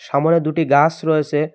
সামোনে দুটি গাছ রয়েসে ।